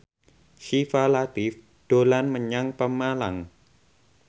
Syifa Latief dolan menyang Pemalang